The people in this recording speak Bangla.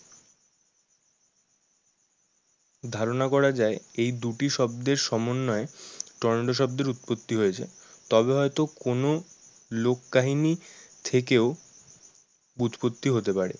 ধারণা করা যায় এই দুটি শব্দের সমন্বয়ে টর্নেডো শব্দের উৎপত্তি হয়েছে। তবে হয় তো কোনো লোক কাহিনী থেকেও উৎপত্তি হতে পারে।